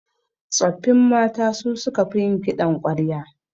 Tsoffin mata su suka fi yin kiɗan ƙwarya